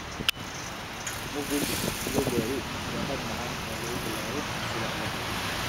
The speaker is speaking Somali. Muffins blueberry waa hab macaan oo lagu bilaabo subaxda.